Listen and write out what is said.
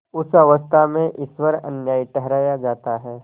उस अवस्था में ईश्वर अन्यायी ठहराया जाता है